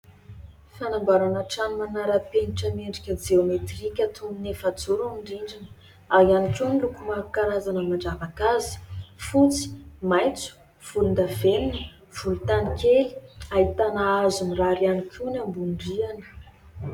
Fanamboarana trano manara-penitra miendrika jeometrika toy ny efajoro ny rindrina ary ihany koa ny loko maro samihafa karazana mandravaka azy fotsy, maitso, volondavenona, volontany kely. Ahitana hazo mirary ihany koa ny ambonin-drihana.